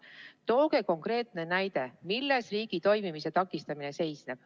Tooge konkreetne näide, milles riigi toimimise takistamine seisneb.